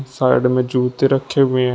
Side में जूते रखे हुए हैं।